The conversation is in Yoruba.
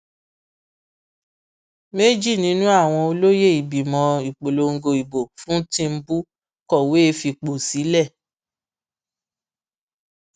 méjì nínú àwọn olóye ìgbìmọ ìpolongo ìbò fún tìǹbù kọwé fipò sílẹ